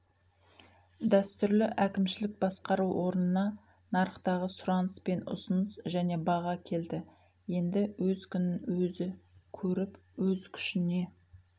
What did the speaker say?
дәстүрлі әкімшілік басқару орнына нарықтағы сұраныс пен ұсыныс және баға келді енді өз күнін өзі көріп өз күшіне